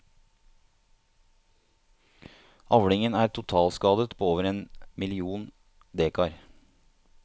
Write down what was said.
Avlingen er totalskadet på over én million dekar.